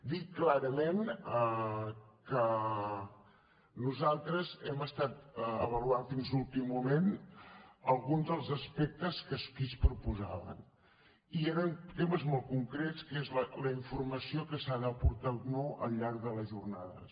dir clarament que nosaltres hem estat avaluant fins a l’últim moment alguns dels aspectes que aquí es proposaven i eren temes molt concrets que són la informació que s’ha d’aportar o no al llarg de les jornades